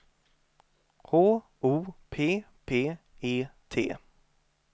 H O P P E T